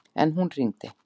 En hún hringdi.